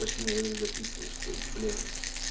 почти никогда не записываешь то есть блин